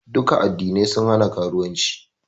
Duka Addinai sun hana karuwanci